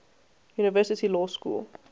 university law school